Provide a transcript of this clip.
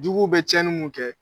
Juguw bɛ cɛnni mun kɛ